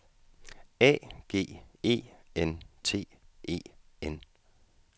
A G E N T E N